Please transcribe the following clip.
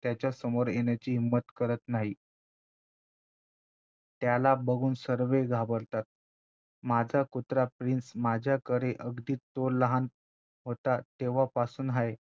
त्याच्या समोर येण्याची हिंमत करत नाही त्याला बघून सर्वे घाबरतात माझा कुत्रा प्रिन्स माझ्याकडे अगदी तो लहान होता तेव्हापासून आहे